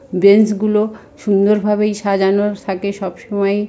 Bench গুলো সুন্দর ভাবেই সাজানো থাকে সবসময় ।